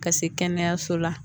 Ka se kɛnɛyaso la